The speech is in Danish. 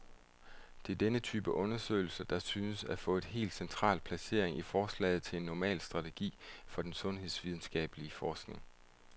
Det er denne type undersøgelser, der synes at få et helt central placering i forslaget til en normal strategi for den sundhedsvidenskabelig forskning.